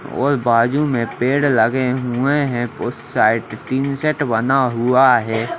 और बाजू में पेड़ लागे हुए हैं उस साइट बना हुआ है।